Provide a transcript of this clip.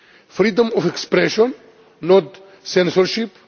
Freedom of expression, not censorship